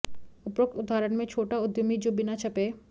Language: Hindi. उपरोक्त उदाहरण में छोटा उद्यमी जो बिना छपे